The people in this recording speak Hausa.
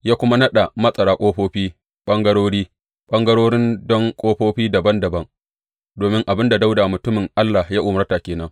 Ya kuma naɗa matsara ƙofofi ɓangarori, ɓangarori don ƙofofi dabam dabam domin abin da Dawuda mutumin Allah ya umarta ke nan.